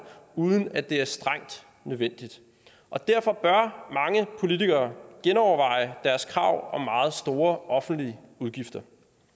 uden at det er strengt nødvendigt og derfor bør mange politikere genoverveje deres krav om meget store offentlige udgifter